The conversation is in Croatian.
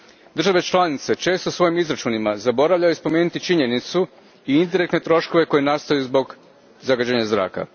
Države članice često u svojim izračunima zaboravljaju spomenuti činjenicu i indirektne troškove koji nastaju zbog zagađenja zraka.